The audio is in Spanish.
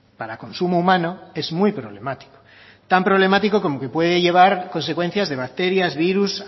para consumo humano es muy problemático tan problemático como que puede llevar consecuencias de bacterias virus